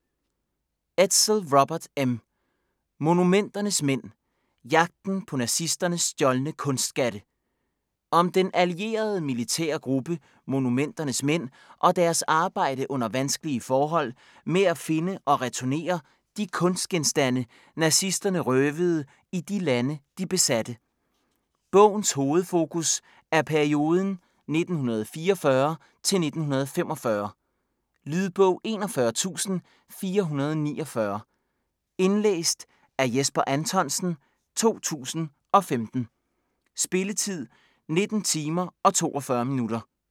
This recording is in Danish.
Edsel, Robert M.: Monumenternes mænd: jagten på nazisternes stjålne kunstskatte Om den allierede militære gruppe "Monumenternes mænd" og deres arbejde under vanskelige forhold med at finde og returnere de kunstgenstande nazisterne røvede i de lande, de besatte. Bogens hovedfokus er perioden 1944-1945. Lydbog 41449 Indlæst af Jesper Anthonsen, 2015. Spilletid: 19 timer, 42 minutter.